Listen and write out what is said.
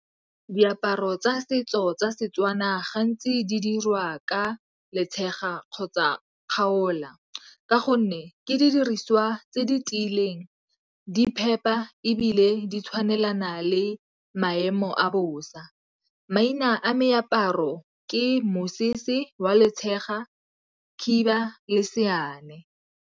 Diaparo tsa setso tsa Setswana gantsi di dirwa ka letshega kgotsa kgaola ka gonne ke didiriswa tse di tiileng di phepa ebile di tshwanelana le maemo a bosa. Maina a meaparo ke mosese wa letshega, khiba le .